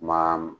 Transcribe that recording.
Maa